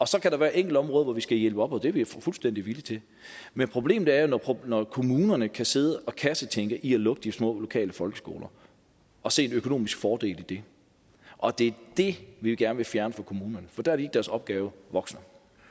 så kan der være enkelte områder hvor vi skal hjælpe og det er vi fuldstændig villige til men problemet er jo når kommunerne kan sidde og kassetænke i at lukke de små lokale folkeskoler og se en økonomisk fordel i det og det er det vi gerne vil fjerne fra kommunerne for der er de deres opgave voksen